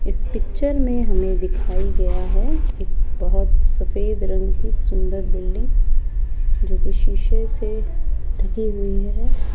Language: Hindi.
इस पिक्चर मे हमे दिखाई गया है एक बहोत सफेद रंग की सुन्दर बिल्डिंग जोकि शीशे से ढकी हुई है।